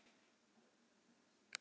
Pálmey, hvenær kemur vagn númer fimmtíu?